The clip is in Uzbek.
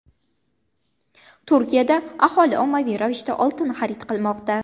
Turkiyada aholi ommaviy ravishda oltin xarid qilmoqda.